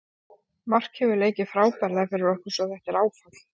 Mark hefur leikið frábærlega fyrir okkur svo þetta er áfall.